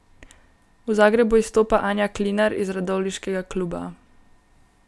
V Zagrebu izstopa Anja Klinar iz radovljiškega kluba.